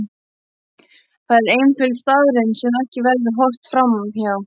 Það er einföld staðreynd sem ekki verður horft fram hjá.